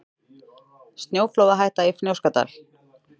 Snjóflóðahætta í Fnjóskadal